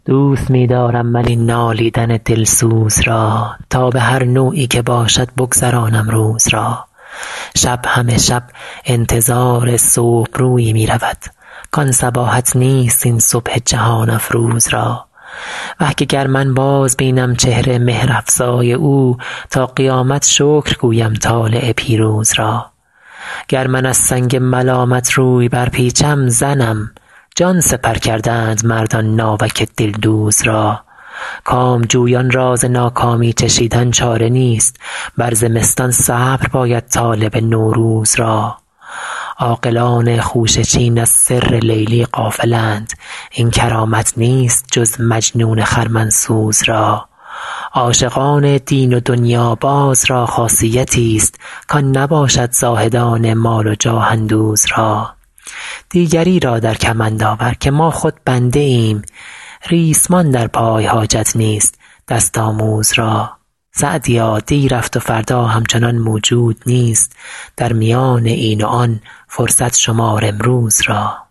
دوست می دارم من این نالیدن دلسوز را تا به هر نوعی که باشد بگذرانم روز را شب همه شب انتظار صبح رویی می رود کان صباحت نیست این صبح جهان افروز را وه که گر من بازبینم چهر مهرافزای او تا قیامت شکر گویم طالع پیروز را گر من از سنگ ملامت روی برپیچم زنم جان سپر کردند مردان ناوک دلدوز را کامجویان را ز ناکامی چشیدن چاره نیست بر زمستان صبر باید طالب نوروز را عاقلان خوشه چین از سر لیلی غافلند این کرامت نیست جز مجنون خرمن سوز را عاشقان دین و دنیاباز را خاصیتیست کان نباشد زاهدان مال و جاه اندوز را دیگری را در کمند آور که ما خود بنده ایم ریسمان در پای حاجت نیست دست آموز را سعدیا دی رفت و فردا همچنان موجود نیست در میان این و آن فرصت شمار امروز را